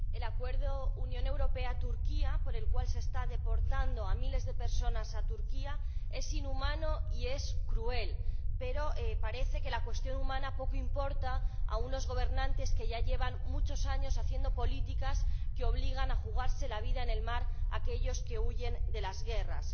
Señora Presidenta, el acuerdo Unión Europea Turquía, por el cual se está deportando a miles de personas a Turquía, es inhumano y es cruel, pero parece que la cuestión humana poco importa a unos gobernantes que ya llevan muchos años haciendo políticas que obligan a jugarse la vida en el mar a aquellos que huyen de las guerras.